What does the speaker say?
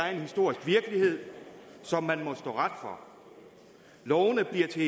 er en historisk virkelighed som man må stå ret for lovene bliver til